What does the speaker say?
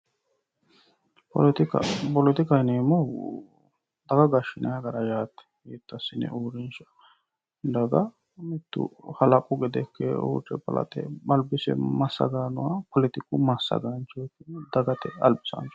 poletikka poletikaho yineemmohu daga gashshinay gara yaate daga halaqu gede ikke albise masagay nooha poletikaho yinanni dagate albisaancho